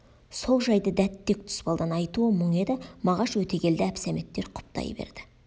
сол жайды дәт тек тұспалдан айтуы мұң еді мағаш өтегелді әбсәметтер құптай берді